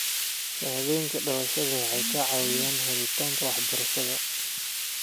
Shahaadooyinka dhalashada waxay ka caawiyaan helitaanka waxbarashada.